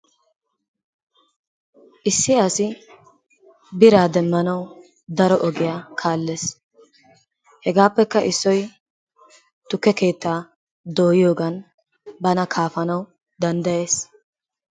Issi asi biraa demmanawu daro ogiya kaallees. Hegaappekka issoy tukke keettaa dooyiyogan bana kaafanaassi danddayees.